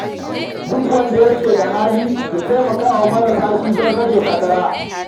Duk wanda ke da hali ya tallafa wa marasa karfi don rage fatara.